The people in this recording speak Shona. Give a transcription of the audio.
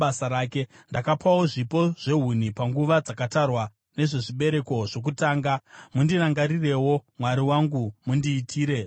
Ndakapawo zvipo zvehuni panguva dzakatarwa nezvezvibereko zvokutanga. Mundirangarirewo, Mwari wangu, mundiitire zvakanaka.